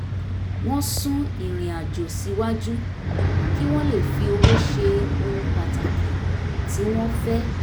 wọ́n sún irinàjò síwájú kí wọ́n lè fi owó ṣe ohun pàtàkì tí wọ́n fẹ́